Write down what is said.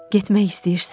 Getmək istəyirsən?